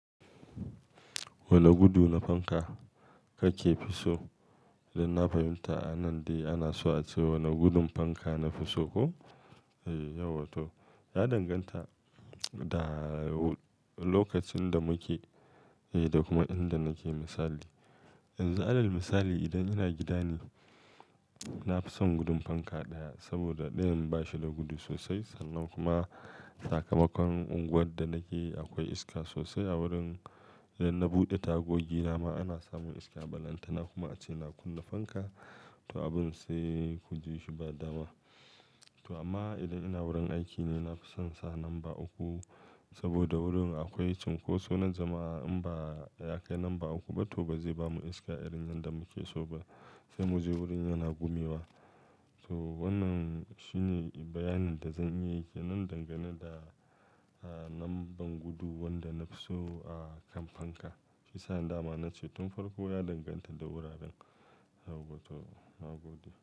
Wane gudu na fanka kake fi so? Don na fahimta a nan dai ana so a ce wane gudun fanka na fi so, ko? Eh, yawwa to. Ya danganta da lokacin da muke eh, da kuma inda nake misali. Yanzu alal misali idan ina gidane, na fi son gudun fanka ɗaya saboda ɗayan ba shi da gudu sosai sannan kuma sakamakon unguwar da nake akwai iska sosai a wurin idan na buɗe tagogi dama ana samun iska a balantana kuma a ce na kunna fanka, to abin sai ku ji shi ba dama. To amma idan ina wurin aiki ne, na fi son sa lamba uku saboda wurin akwai cunkoso na jama'a in ba ya kai lamba uku ba to ba zai bamu iska irin yadda muke so ba sai mu je wurin yana gumewa. To wannan shine bayanin da zan iya yi ke nan dangane da, ah, lambar gudu wanda na fi so, ah, kan fanka. Fi sa'an da ma na ce tun farko ya danganta da wuraren. Yahwarto magudi.